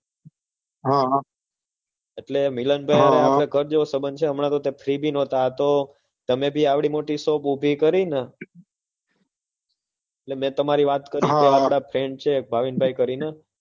હમ એટલે હમ મિલનભાઈ સાથે સંબંધ સારો છે હમણાં તો એ free પણ ન હતા તમે પણ આ મોટી shop ઉભી કરીને એટલે મેં તમારી વાત કરી હમ મારા એક friend છે ભાવિનભાઈ કરીને